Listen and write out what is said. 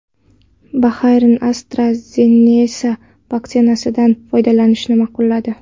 Bahrayn AstraZeneca vaksinasidan foydalanishni ma’qulladi.